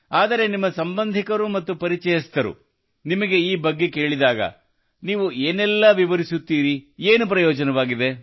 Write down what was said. ಆದರೆ ನಿಮ್ಮ ಸಂಬಂಧಿಕರು ಮತ್ತು ಪರಿಚಯಸ್ಥರು ನಿಮಗೆ ಈ ಬಗ್ಗೆ ಕೇಳಿದಾಗ ನೀವು ಏನೆಲ್ಲ ವಿವರಿಸುತ್ತೀರಿ ಏನು ಪ್ರಯೋಜನವಾಗಿದೆ